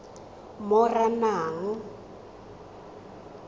moranang